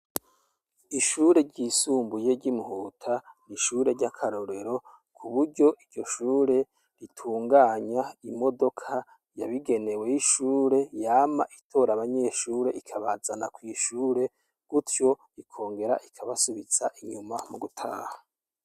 Ishure ryisumbuye ry'i Muhuta, n'ishure ry'akarorero, k'uburyo iryo shure ritunganywa. Imodoka yabigenewe y'ishure, yama itora abanyeshure ikabazana kw'ishure, gutyo ikongera ikabasubiza inyuma mu gutaha.